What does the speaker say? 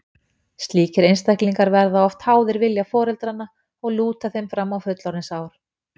Slíkir einstaklingar verða oft háðir vilja foreldranna og lúta þeim fram á fullorðinsár.